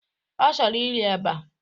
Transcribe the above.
Ọ chọrọ iri eba.